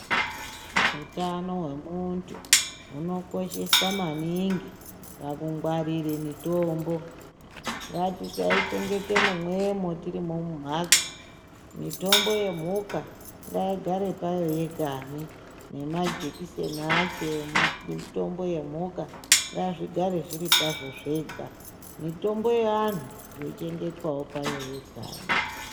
Hutano hwemuntu hunokosheswa maningi pakungwarire mitombo. Ngatisaichengete mumwemo tirimho mumhatso, mitombo yemhuka ngaigare payo yegani nemajekiseni acho emitombo yemhuka ngazvigare zviri pazvo zvega. Mitombo yevantu yochengetwa payo yegani.